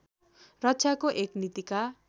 रक्षाको एक नीतिका